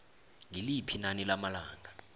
ngiliphi inani lamalanga